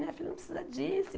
Minha filha não precisa disso.